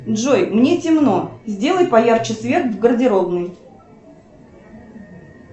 джой мне темно сделай поярче свет в гардеробной